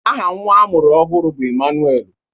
Aha nnwa a mụrụ ọhụrụ bụ Emmanuel.